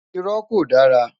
Irọ́ ko dara